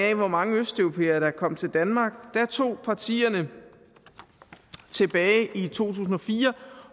af hvor mange østeuropæere der er kommet til danmark tog partierne tilbage i to tusind og fire